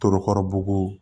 Torokɔrɔbugu